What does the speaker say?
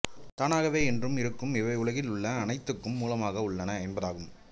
தானாகவே என்றும் இருக்கும் இவை உலகில் உள்ள அனைத்துக்கும் மூலமாக உள்ளன என்பதாகும்